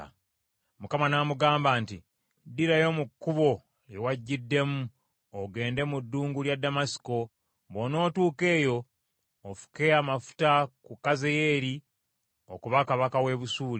Mukama n’amugamba nti, “Ddirayo mu kkubo lye wajjiddemu ogende mu ddungu lya Ddamasiko. Bw’onootuuka eyo ofuke amafuta ku Kazayeeri okuba kabaka w’e Busuuli,